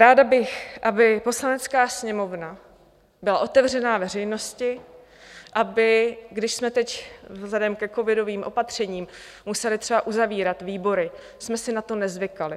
Ráda bych, aby Poslanecká sněmovna byla otevřená veřejnosti, aby - když jsme teď vzhledem ke covidovým opatřením museli třeba uzavírat výbory - jsme si na to nezvykali.